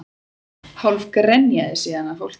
Hálf grenjaði síðan að fólkinu